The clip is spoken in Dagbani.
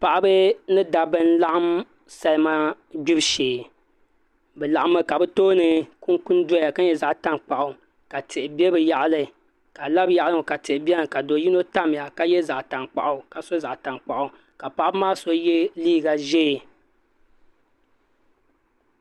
Paɣaba ni dabba n laɣam salima gbibu shee bi laɣammi ka bi tooni kunkun doya ka nyɛ zaɣ tankpaɣu ka tihi bɛ bi yaɣali ka a labi bi yaɣali n ŋo ka tihi biɛni ka do yino tamya ka so zaɣ tankpaɣu ka paɣaba maa so yɛ liiga ʒiɛ